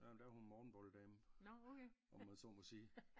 Jamen der er hun morgenbolle dame om man så må sige